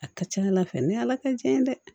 A ka ca ala fɛ ni ala tɛ tiɲɛ ye dɛ